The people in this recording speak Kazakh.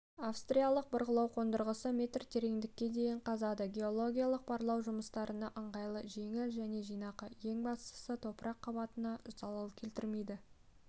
австралиялық бұрғылау қондырғысы метр тереңдікке дейін қазады геологиялық барлау жұмыстарына ыңғайлы жеңіл және жинақы ең бастысы топырақ қабатына залал келтірмейді